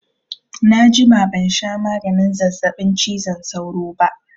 Na jima ban sha maganin zazzaɓin cizon sauro ba